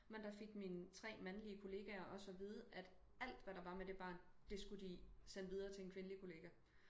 Men der fik mine tre mandlige kollegaer også at vide at alt hvad der var med det barn det skulle de sende videre til en kvindelig kollega